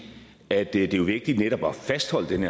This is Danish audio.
at det er vigtigt netop at fastholde den